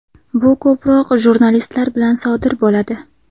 Bu ko‘proq jurnalistlar bilan sodir bo‘ladi.